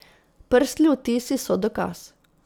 Prstni odtisi so dokaz.